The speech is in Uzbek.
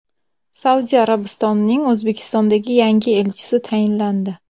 Saudiya Arabistonining O‘zbekistondagi yangi elchisi tayinlandi.